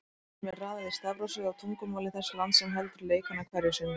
Þjóðunum er raðað í stafrófsröð á tungumáli þess lands sem heldur leikana hverju sinni.